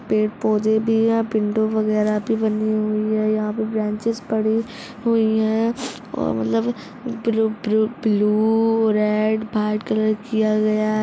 पेड़ पौधे भी है विंडो वेगेराह भी बनी हुई है यहाँ पर ब्रांचेज़ पड़ी हुई है और मतलब blue blue blue red white colour किया गया है।